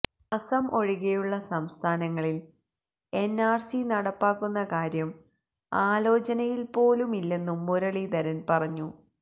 അസം ഒഴികെയുള്ള സംസ്ഥാനങ്ങളില് എന്ആര്സി നടപ്പാക്കുന്ന കാര്യം ആലോചനയില്പോലുമില്ലെന്നും മുരളീധരന് പറഞ്ഞു